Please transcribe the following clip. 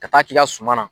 Ka taa k'i ka suma na